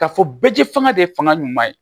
Ka fɔ bɛɛji fanga de ye fanga ɲuman ye